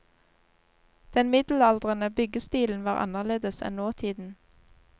Den middelaldrende byggestilen var annerledes enn nåtiden.